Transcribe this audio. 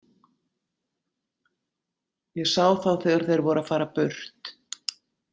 Ég sá þá þegar þeir voru að fara burt.